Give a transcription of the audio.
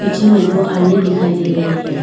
पीछे में दो आईने दिखाई दे रहे है।